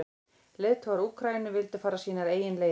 Leiðtogar Úkraínu vildu fara sínar eigin leiðir.